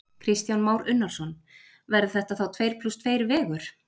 Kristján Már Unnarsson: Verður þetta þá tveir plús tveir vegur?